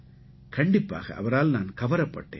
கண்டிப்பாக அவரால் நான் கவரப்பட்டேன்